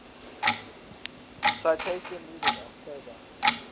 citation needed october